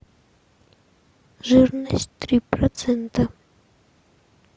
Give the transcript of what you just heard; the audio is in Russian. жирность три процента